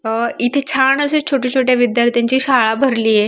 आ इथे छान अश्या छोट्या-छोट्या विध्यार्थ्याची शाळा भरली आहे.